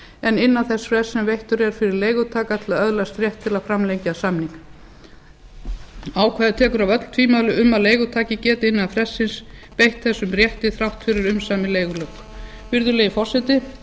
en innan þess frests sem veittur er fyrir leigutaka til að öðlast rétt til að framlengja samning ákvæðið tekur af öll tvímæli um að leigutaki geti innan frestsins beitt þessum rétti þrátt fyrir umsamin leigulok virðulegi forseti